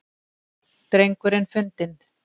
Drengurinn fundinn